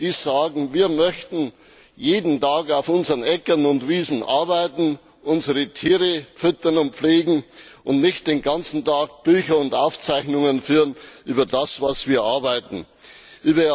Sie sagen Wir möchten jeden Tag auf unseren Äckern und Wiesen arbeiten, unsere Tiere füttern und pflegen, und nicht den ganzen Tag Bücher und Aufzeichnungen über das, was wir arbeiten, führen.